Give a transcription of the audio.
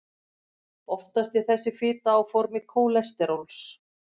oftast er þessi fita á formi kólesteróls